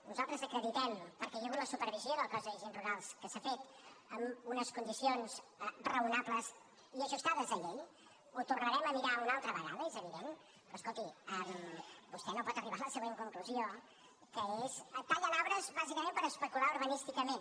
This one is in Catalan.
nosaltres acreditem perquè hi ha hagut la supervisió del cos d’agents rurals que s’ha fet amb unes condicions raonables i ajustades a llei ho tornarem a mirar una altra vegada és evident però escolti vostè no pot arribar a la següent conclusió que és tallen arbres bàsicament per especular urbanísticament